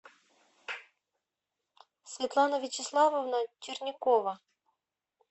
светлана вячеславовна чернякова